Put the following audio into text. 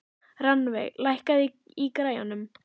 Rannveig, lækkaðu í græjunum.